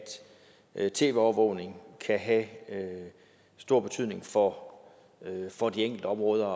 at tv overvågning kan have stor betydning for for de enkelte områder